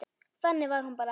Þannig var hún bara.